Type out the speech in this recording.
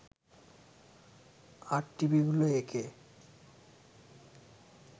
আর টিভিগুলো একে